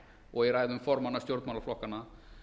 og í ræðum formanna stjórnmálaflokkanna